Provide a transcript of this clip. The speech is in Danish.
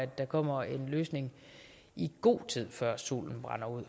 der kommer en løsning i god tid før solen brænder ud